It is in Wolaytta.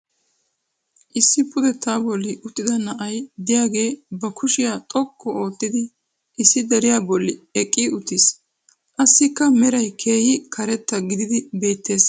Issi pudettaa bolli uttida na"ay diyaagee ba kushiya xoqqu oottidi issi deriya boli eqqi uttiis. Assikka meray keehi karetta gididdi beettees.